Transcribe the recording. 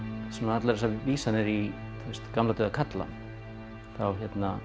allar þessar vísanir í gamla dauða kalla þá